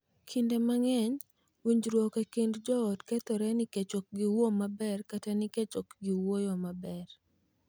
Kinde mang’eny, winjruok e kind joot kethore nikech ok giwuoyo maber kata nikech ok giwuoyo maber.